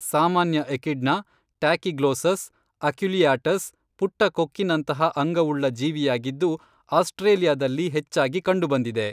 ಸಾಮಾನ್ಯ echidna, Tachyglossus, aculeatus, ಪುಟ್ಟ ಕೊಕ್ಕಿನಂತಹ ಅಂಗವುಳ್ಳ ಜೀವಿಯಾಗಿದ್ದು ಆಸ್ಟ್ರೇಲಿಯಾದಲ್ಲಿ ಹೆಚ್ಚಾಗಿ ಕಂಡುಬಂದಿದೆ